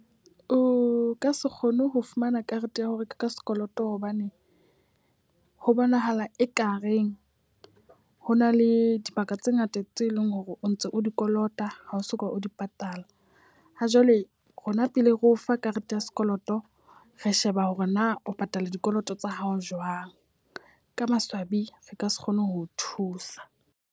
O ka se kgone ho fumana karete ya ho reka ka sekoloto hobane ho bonahala ekareng hona le dibaka tse ngata tse leng hore o ntse o di kolota, ha o soka o di patala. Ha jwale rona pele re o fa karete ya sekoloto, re sheba hore na o patala dikoloto tsa hao jwang. Ka maswabi re ka se kgone ho o thusa.